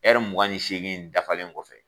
ƐRI mugan ni segin dafalen kɔfɛ